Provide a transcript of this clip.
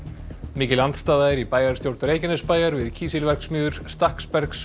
mikil andstaða er í bæjarstjórn Reykjanesbæjar við kísilverksmiðjur